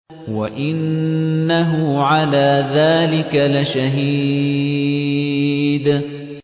وَإِنَّهُ عَلَىٰ ذَٰلِكَ لَشَهِيدٌ